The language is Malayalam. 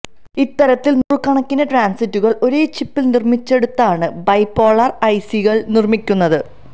ഇത്തരത്തിൽ നൂറുകണക്കിന് ട്രാന്സിസ്റ്ററുകൾ ഒരേ ചിപ്പിൽ നിർമ്മിച്ചെടുത്താണ് ബൈപോളാർ ഐ സി കൾ നിർമ്മിക്കുന്നത്